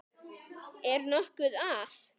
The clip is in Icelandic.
Er nokkuð að?